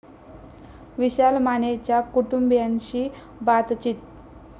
विशाल मानेच्या कुटुंबीयांशी बातचित